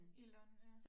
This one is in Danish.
I løn ja